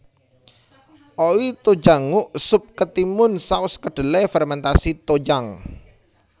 Oi tojangguk sup ketimun saus kedelai fermentasi tojang